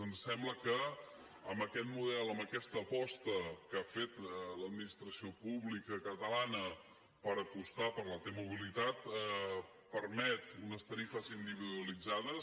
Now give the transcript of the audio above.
ens sembla que amb aquest model amb aquesta aposta que ha fet l’administració pública catalana per apostar per la t mobilitat permet unes tarifes individualitzades